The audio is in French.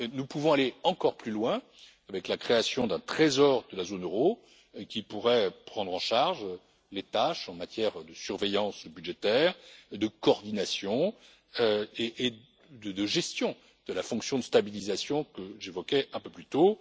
Nous pouvons aller encore plus loin avec la création d'un Trésor de la zone euro, qui pourrait prendre en charge les tâches en matière de surveillance budgétaire, de coordination et de gestion de la fonction de stabilisation que j'évoquais un peu plus tôt.